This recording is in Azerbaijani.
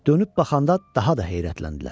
Dönüb baxanda daha da heyrətləndilər.